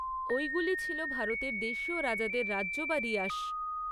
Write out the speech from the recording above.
ঐগুলি ছিল ভারতের দেশীয় রাজাদের রাজ্য বা রিয়াস।